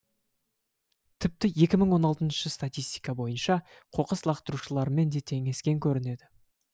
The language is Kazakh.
тіпті екі мың он алтыншы статистика бойынша қоқыс лақтырушылармен де теңескен көрінеді